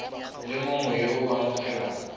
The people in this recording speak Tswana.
le mongwe yo o amogelang